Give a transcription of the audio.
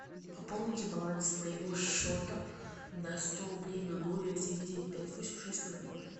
пополните баланс моего счета на сто рублей на номер девять девять пять восемь шесть ноль ноль